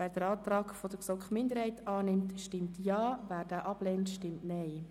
Wer den Antrag GSoK-Minderheit annimmt, stimmt Ja, wer diesen ablehnt, stimmt Nein.